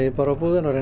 á búðina og reynum